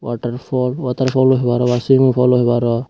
waterfall waterfall aw hoparo ba swimming fall aw hoparo.